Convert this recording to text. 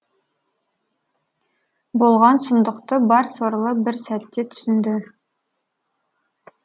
болған сұмдықты бар сорлы бір сәтте түсінді